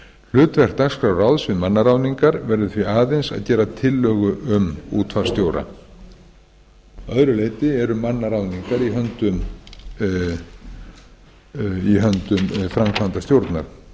hlutverk dagskrárráðs um mannaráðningar verður því aðeins að gera tillögu um útvarpsstjóra að öðru leyti yrðu mannaráðningar í höndum framkvæmdastjórnar